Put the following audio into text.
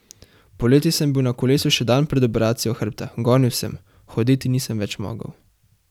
Poleti sem bil na kolesu še dan pred operacijo hrbta, gonil sem, hoditi nisem več mogel.